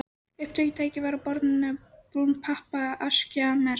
Upptökutæki var á borðinu og brún pappaaskja merkt